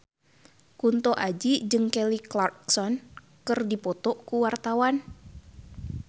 Kunto Aji jeung Kelly Clarkson keur dipoto ku wartawan